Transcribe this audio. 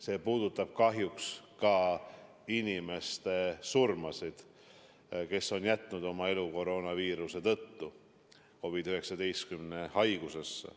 See puudutab kahjuks ka nende inimeste surma, kes on jätnud oma elu koroonaviiruse tõttu, surnud COVID-19 haigusesse.